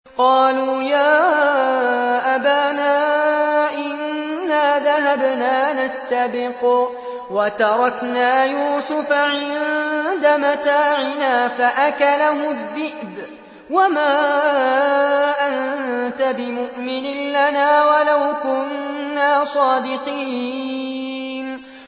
قَالُوا يَا أَبَانَا إِنَّا ذَهَبْنَا نَسْتَبِقُ وَتَرَكْنَا يُوسُفَ عِندَ مَتَاعِنَا فَأَكَلَهُ الذِّئْبُ ۖ وَمَا أَنتَ بِمُؤْمِنٍ لَّنَا وَلَوْ كُنَّا صَادِقِينَ